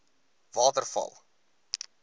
waterval